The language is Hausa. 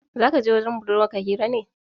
Za kaje wajen budurwar ka hira ne